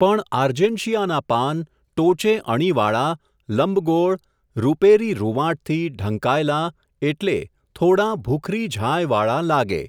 પણ આર્જેન્શિયાનાં પાન, ટોચે અણીવાળાં, લંબગોળ, રૂપેરી રુંવાટથી, ઢંકાયેલાં, એટલે, થોડાં ભૂખરી ઝાંયવાળાં, લાગે.